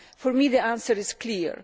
from. For me, the answer is clear.